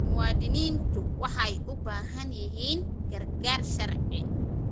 Muwaadiniintu waxay u baahan yihiin gargaar sharci.